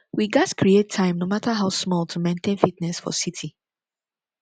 we gats create time no matter how small to maintain fitness for city